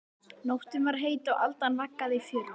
Nóttin var heit og aldan vaggaði í fjörunni.